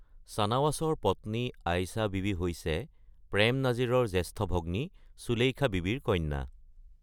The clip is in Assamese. চানৱাছৰ পত্নী আয়েষা বীবী হৈছে প্ৰেম নাজিৰৰ জ্যেষ্ঠ ভগ্নী সুলেখা বীবীৰ কন্যা।